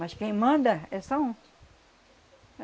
Mas quem manda é só um.